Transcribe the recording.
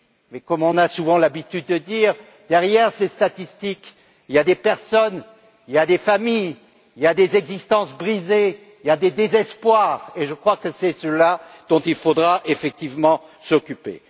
Mais, comme on a souvent l'habitude de le dire, derrière ces statistiques, il y a des personnes, il y a des familles, il y a des existences brisées, il y a des désespoirs, et je crois que c'est bien cela dont il faudra effectivement s'occuper.